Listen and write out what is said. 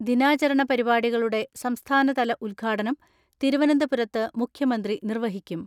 ദിനാചരണപരിപാടി കളുടെ സംസ്ഥാനതല ഉദ്ഘാടനം തിരുവനന്തപുരത്ത് മുഖ്യ മന്ത്രി നിർവഹിക്കും.